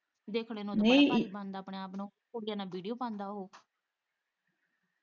ਦੇਖਣੇ ਨੂੰ ਤਾਂ ਬੜਾ ਸਮਾਟ ਬਣਦਾ ਆਪਣੇ ਆਪ ਨੂੰ ਕੁੜੀਆਂ ਨਾਲ਼ ਵੀਡੀਓ ਪਾਉਂਦਾ ਉਹ।